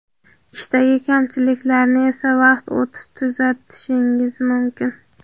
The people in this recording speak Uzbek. Ishdagi kamchiliklarni esa vaqt o‘tib tuzatishingiz mumkin.